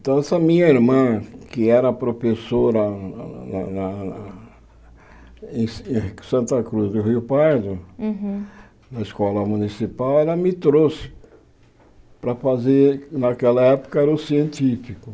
Então essa minha irmã, que era professora lá lá lá em em Santa Cruz do Rio Pardo, Uhum na escola municipal, ela me trouxe para fazer, naquela época era o científico.